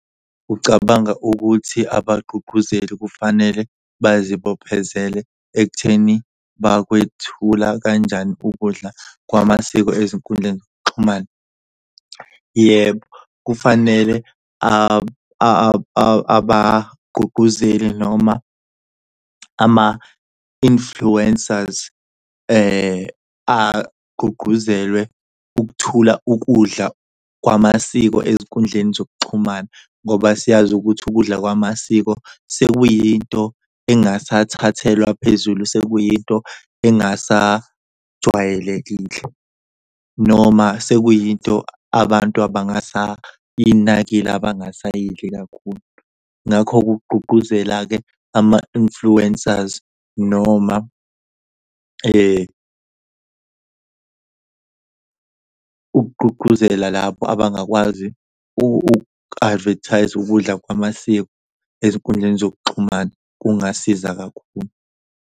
Ucabanga ukuthi abagqugquzeli kufanele bazibophezele ekutheni bakwethula kanjani ukudla kwamasiko ezinkundleni zokuxhumana? Yebo kufanele abagqugquzeli noma ama-influencers agqugquzelwe ukuthula ukudla kwamasiko ezinkundleni zokuxhumana. Ngoba siyazi ukuthi ukudla kwamasiko sekuyinto engasathathelwa phezulu, sekuyinto engasajwayelekile noma sekuyinto abantu abangasayinakile, abangayidli kakhulu. Ngakho-ke kugqugquzela-ke ama-influencers noma ukugqugquzela lapho abangakwazi, u-advertise-a ukudla kwamasiko ezinkundleni zokuxhumana kungasiza kakhulu.